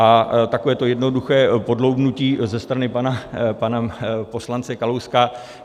A takové to jednoduché podloubnutí ze strany pana poslance Kalouska.